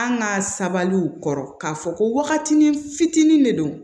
An ka sabaliw kɔrɔ k'a fɔ ko waatini fitinin de don